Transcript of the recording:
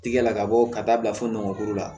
Tigɛ la ka bɔ ka taa bila fo ngɔnɔnkuru la